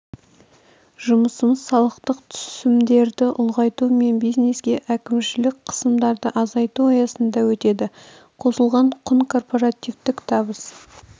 жұмысымыз салықтық түсімдерді ұлғайту мен бизнеске әкімшілік қысымдарды азайту аясында өтеді қосылған құн корпортативтік табыс